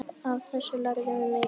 Af þessu lærðum við mikið.